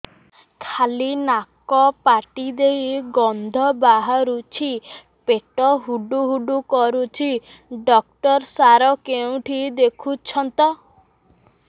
ଖାଲି ନାକ ପାଟି ଦେଇ ଗଂଧ ବାହାରୁଛି ପେଟ ହୁଡ଼ୁ ହୁଡ଼ୁ କରୁଛି ଡକ୍ଟର ସାର କେଉଁଠି ଦେଖୁଛନ୍ତ